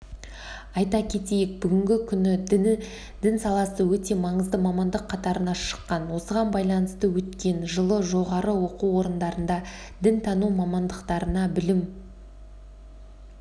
айта кетейік бүгінгі күні дін саласы өте маңызды мамандық қатарына шыққан осыған байланысты өткен жылы жоғары оқу орындарында дінтану мамандықтарына білім